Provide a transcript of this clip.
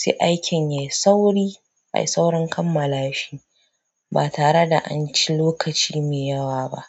sai aikin yayi sauri ayi saurin kammala shi ba tare da an ci lokaci mai yawa ba.